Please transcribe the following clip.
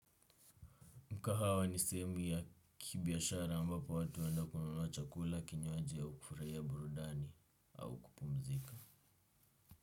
Mkahawa ni sehemu ya kibiashara ambapo watu huenda kununua chakula kinywaji au kufurahia burudani au kupumzika.